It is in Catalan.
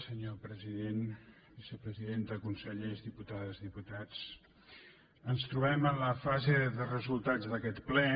senyor president vicepresidenta consellers diputades diputats ens trobem en la fase de resultats d’aquest ple